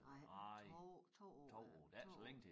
Nej 2 2 år øh 2 år